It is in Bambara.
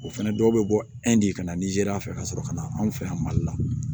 O fɛnɛ dɔw bɛ bɔ de ka na nizeriya fɛ ka sɔrɔ ka na anw fɛ yan mali la